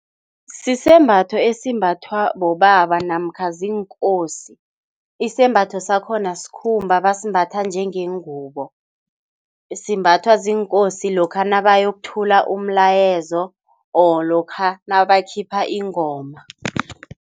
Sisembatho esimbathwa bobaba namkha ziinkosi. Isembatho sakhona sikhumba basembatha njengengubo. Simbathwa ziinkosi lokha nabayokuthula umlayezo or lokha nabakhipha ingoma.